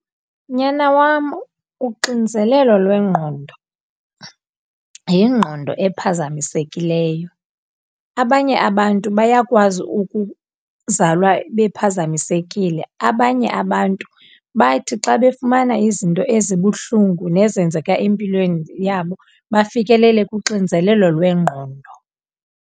Nyana wam, uxinzelelo lwengqondo yingqondo ephazamisekileyo. Abanye abantu bayakwazi ukuzalwa bephazamisekile, abanye abantu bathi xa befumana izinto ezibuhlungu nezenzeka empilweni yabo bafikelele kuxinzelelo lwengqondo.